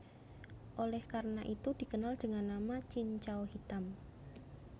Oleh karena itu dikenal dengan nama Cincau Hitam